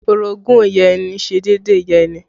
Orogún ìyá ẹni ṣe déédéé ìyá ẹni